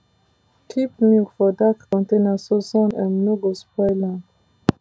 keep milk for dark container so sun um no go spoil am